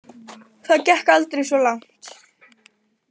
Það gekk aldrei svo langt.